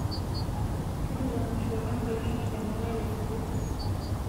tujuto emasho enkolong e nkiyama olari osuju